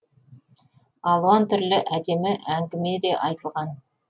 алуан түрлі әдемі әңгіме де айтылған